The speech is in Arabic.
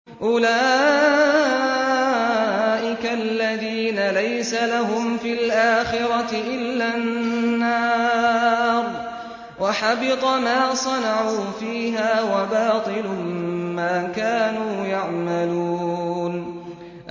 أُولَٰئِكَ الَّذِينَ لَيْسَ لَهُمْ فِي الْآخِرَةِ إِلَّا النَّارُ ۖ وَحَبِطَ مَا صَنَعُوا فِيهَا وَبَاطِلٌ مَّا كَانُوا يَعْمَلُونَ